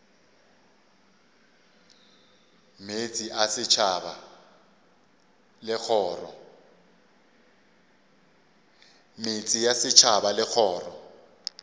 meetse a setšhaba le kgoro